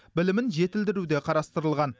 білімін жетілдіру де қарастырылған